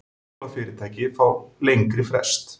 Fjármálafyrirtæki fá lengri frest